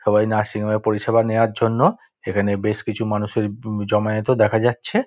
সবাই নার্সিং হোমের পরিষেবা নেওয়ার জন্য এখানে বেশ কিছু মানুষের ব জমায়েত ও দেখা যাচ্ছে-এ।